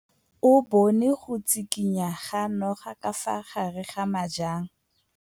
O bone go tshikinya ga noga ka fa gare ga majang.